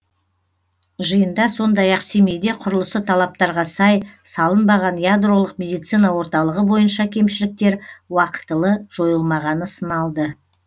жиында сондай ақ семейде құрылысы талаптарға сай салынбаған ядролық медицина орталығы бойынша кемшіліктер уақытылы жойылмағаны сыналды